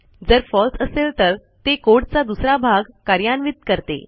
जर फळसे असेल तर ते कोड चा दुसरा भाग कार्यान्वित करते